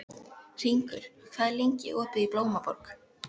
Hringur, hvað er lengi opið í Blómaborg?